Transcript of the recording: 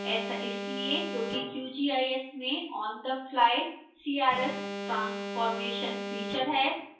ऐसा इसलिए क्योंकि qgis में onthefly crs transformation फीचर है